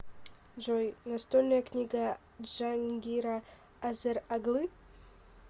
джой настольная книга джангира азер оглы